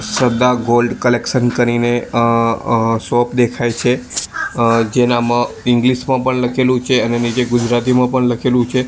શ્રદ્ધા gold collection કરીને અ અ શોપ દેખાય છે અ જેનામાં ઈંગ્લીશ મા પણ લખેલુ છે અને નીચે ગુજરાતીમાં પણ લખેલુ છે.